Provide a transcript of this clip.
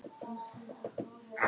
Það var það eina sem ég átti eftir.